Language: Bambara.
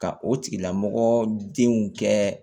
Ka o tigilamɔgɔ denw kɛ